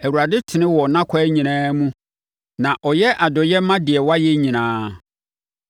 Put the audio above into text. Awurade tene wɔ nʼakwan nyinaa mu; na ɔyɛ adɔeɛ ma deɛ wayɛ nyinaa.